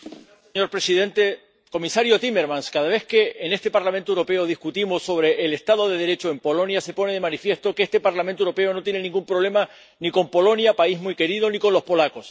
Señor presidente comisario Timmermans, cada vez que en este Parlamento Europeo discutimos sobre el Estado de Derecho en Polonia, se pone de manifiesto que este Parlamento Europeo no tiene ningún problema ni con Polonia, país muy querido, ni con los polacos.